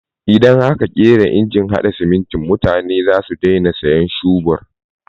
Idan aka ƙera injin haɗa siminti mutane za su daina sayan shubur.